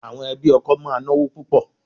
Àwọn ẹbí ọkọ máa náwó púpò.